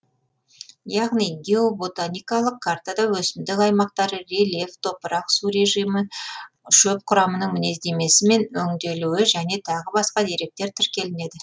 яғни геоботаникалық картада өсімдік аймақтары рельеф топырақ су режимі шөп құрамының мінездемесі мен өнделуі және тағы басқа деректер тіркелінеді